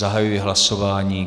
Zahajuji hlasování.